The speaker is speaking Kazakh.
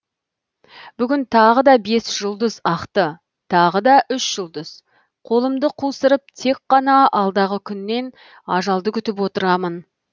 бүгін тағы да бес жұлдыз ақты тағы да үш жұлдыз қолымды қусырып тек қана алдағы күннен ажалды күтіп отырамын